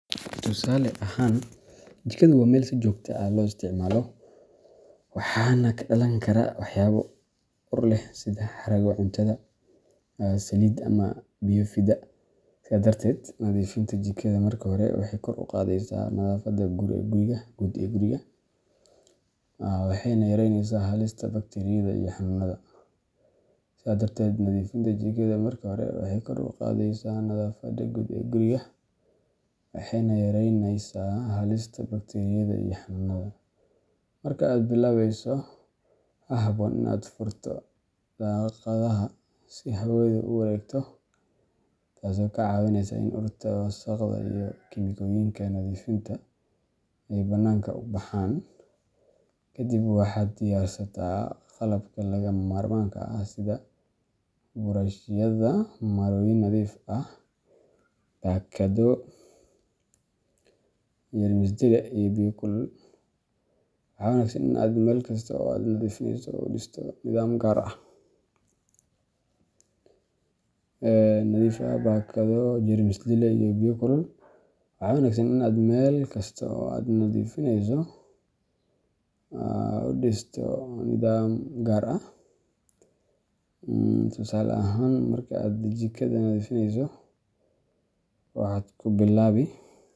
Tusaale ahaan, jikadu waa meel si joogto ah loo isticmaalo, waxaana ka dhalan kara waxyaabo ur leh sida haraaga cuntada, saliid, ama biyo fida. Sidaa darteed, nadiifinta jikada marka hore waxay kor u qaadaysaa nadaafadda guud ee guriga, waxayna yareynaysaa halista bakteeriyada iyo xanuunada. Marka aad bilaabayso, waxaa habboon in aad furto daaqadaha si hawadu u wareegto, taasoo kaa caawinaysa in urta wasakhda iyo kiimikooyinka nadiifinta ay banaanka u baxaan. Kadib, waxaad diyaarsataa qalabka lagama maarmaanka ah sida buraashyada, marooyin nadiif ah, baakado, jeermis dile, iyo biyo kulul. Waxaa wanaagsan in aad meel kasta oo aad nadiifinayso u dhisto nidaam gaar ah tusaale ahaan, marka aad jikada nadiifinayso, waxaad ku bilaabi.